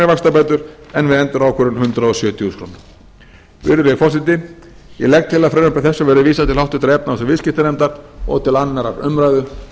vaxtabætur en við endurákvörðun hundrað sjötíu þúsund krónur virðulegi forseti ég legg til að frumvarpi þessu verði vísað til háttvirtrar efnahags og viðskiptanefndar og til annarrar umræðu